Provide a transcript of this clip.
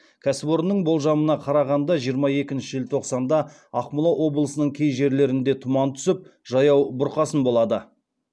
кәсіпорынның болжамына қарағанда жиырма екінші желтоқсанда ақмола облысының кей жерлерінде тұман түсіп жаяу бұрқасын болады